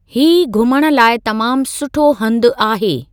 ही घुमण लाइ तमामु सुठो हंधु आहे।